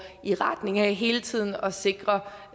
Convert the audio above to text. i retning af hele tiden at sikre